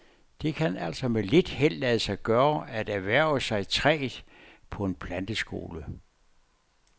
Det kan altså med lidt held lade sig gøre at erhverve sig træet på en planteskole.